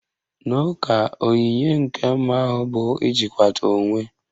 N'ụka, onyinye nke mmụọ ahụ bụ ijikwata onwe